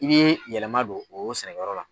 I bɛ yɛlɛma don o sɛnɛkɛ yɔrɔ la.